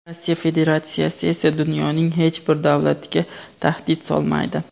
Rossiya Federatsiyasi esa dunyoning hech bir davlatiga tahdid solmaydi.